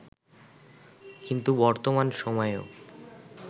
কিন্তু বর্তমান সময়েও